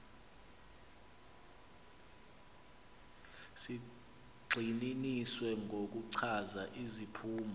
zigxininiswa ngokuchaza iziphumo